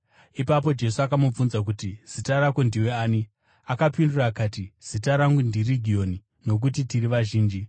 Ipapo Jesu akamubvunza akati, “Zita rako ndiwe ani?” Akapindura akati, “Zita rangu ndiRegioni, nokuti tiri vazhinji.”